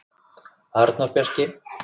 Arnór Bjarki.